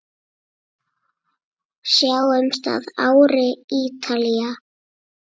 Sjáumst að ári, Ítalía.